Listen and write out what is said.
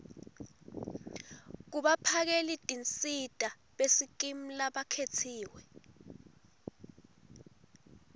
kubaphakelitinsita besikimu labakhetsiwe